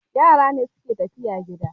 Yara ne suke tafiya gida